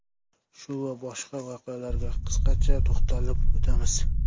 Shu va boshqa voqealarga qisqacha to‘xtalib o‘tamiz.